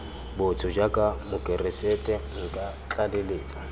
botho jaaka mokeresete nka tlaleletsa